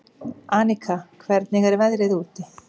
Aníka, hvernig er veðrið úti?